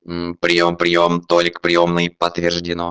мм приём приём толик приёмный подтверждено